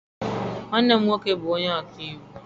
Nwanne m nwoke bụ ọka iwu.